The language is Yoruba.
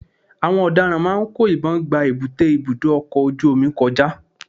àwọn ọ̀daràn máà ń kó ìbọn gba èbúté ibudọ ọkọ ojú-omi kọjá.